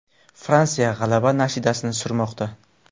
Fransiya g‘alaba nashidasini surmoqda.